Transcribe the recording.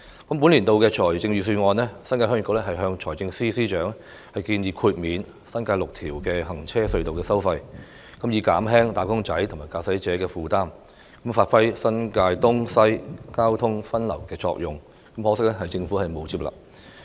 就本年的財政預算案，新界鄉議局曾向財政司司長建議免收新界6條行車隧道的費用，以發揮新界東及新界西交通分流的作用，從而減輕"打工仔"和駕駛者的負擔，可惜政府沒有接納此建議。